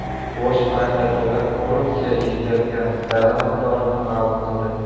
Bosh prokuratura korrupsiya yetkazgan zarar miqdorini ma’lum qildi.